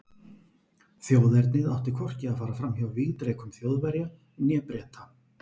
Þjóðernið átti hvorki að fara fram hjá vígdrekum Þjóðverja né Breta.